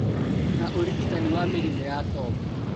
Na ũrigitani wa mĩrimũ ya tombo